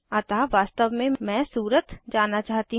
अतः वास्तव में मैं सूरत जाना चाहती हूँ